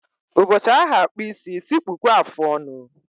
Ụbọchị a ha-akpụ isi, sị kpụkwuo afọ ọnụ